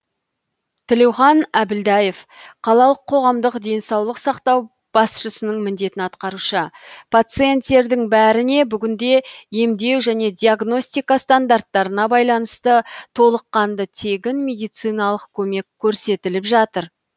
тілеухан әбілдаев қалалық қоғамдық денсаулық сақтау басшысының міндетін атқарушы пациенттердің бәріне бүгінде емдеу және диагностика стандарттарына байланысты толыққанды тегін медициналық көмек көрсетіліп жатыр